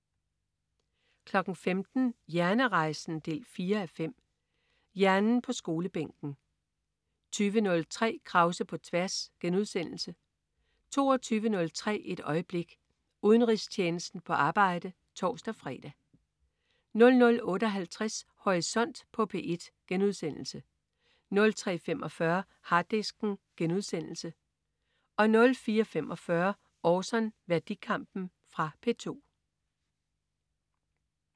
15.00 Hjernerejsen 4:5. Hjernen på skolebænken 20.03 Krause på tværs* 22.03 Et øjeblik. Udenrigstjenesten på arbejde (tors-fre) 00.58 Horisont på P1* 03.45 Harddisken* 04.45 Orson. Værdikampen. Fra P2